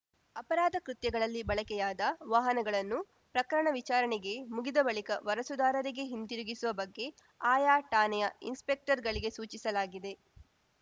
ಅಪರಾಧ ಕೃತ್ಯಗಳಲ್ಲಿ ಬಳಕೆಯಾದ ವಾಹನಗಳನ್ನು ಪ್ರಕರಣ ವಿಚಾರಣೆ ಮುಗಿದ ಬಳಿಕ ವಾರಸುದಾರರಿಗೆ ಹಿಂತಿರುಗಿಸುವ ಬಗ್ಗೆ ಆಯಾ ಠಾಣೆಯ ಇನ್ಸ್ಪೆಕ್ಟರ್ ಗಳಿಗೆ ಸೂಚಿಸಲಾಗಿದೆ